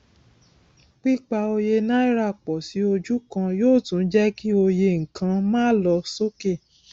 pípa òye náírà pọ sí ojú kan yóò tún jẹ kí òye nkan má lọ sókè